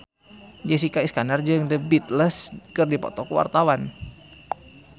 Jessica Iskandar jeung The Beatles keur dipoto ku wartawan